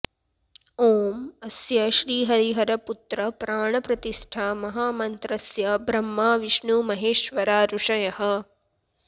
ॐ अस्य श्रीहरिहरपुत्र प्राणप्रतिष्ठा महामन्त्रस्य ब्रह्मा विष्णु महेश्वरा ऋषयः